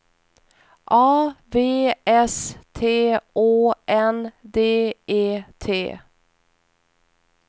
A V S T Å N D E T